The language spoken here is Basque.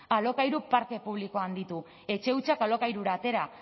alokairu parke publikoa handitu etxe hutsak alokairura atera